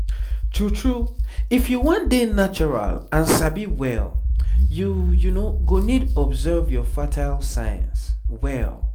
true true if you wan dey natural and sabi well you go need observe your fertile signs well